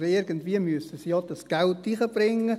Und irgendwie müssen sie ja das Geld einbringen.